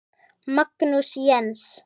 Magnús Jens.